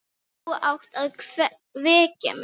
Þú átt að vekja mig.